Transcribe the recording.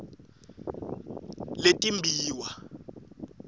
letimbiwa